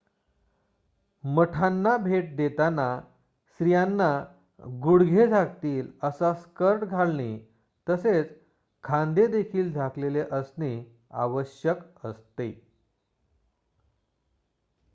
मठांना भेट देताना स्त्रियांना गुडघे झाकतील असा स्कर्ट घालणे तसेच खांदे देखील झाकलेले असणे आवश्यक असते